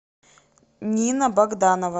нина богданова